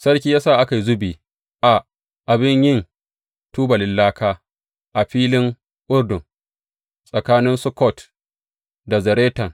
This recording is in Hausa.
Sarki ya sa aka yi zubi a abin yin tubalin laka a filin Urdun, tsakanin Sukkot da Zaretan.